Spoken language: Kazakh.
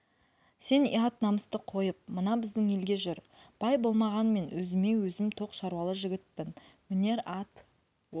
сен ұят намысты қойып мына біздің елге жүр бай болмағанмен өзіме-өзім тоқ шаруалы жігітпін мінер ат